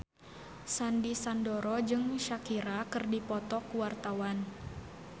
Sandy Sandoro jeung Shakira keur dipoto ku wartawan